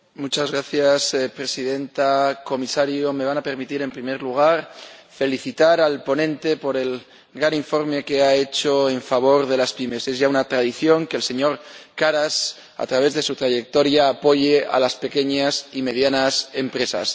Señora Presidenta, señor Comisario, me van a permitir, en primer lugar, felicitar al ponente por el gran informe que ha hecho en favor de las pymes. Es ya una tradición que el señor Karas, en su trayectoria, apoye a las pequeñas y medianas empresas.